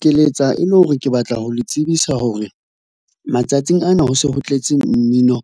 Ke letsa e le hore ke batla ho le tsebisa hore, matsatsing ana ho se ho tletse mmino